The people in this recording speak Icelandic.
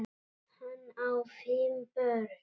Hann á fimm börn.